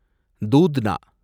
தூத்னா